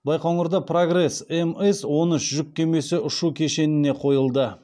байқоңырда прогресс мс он үш жүк кемесі ұшу кешеніне қойылды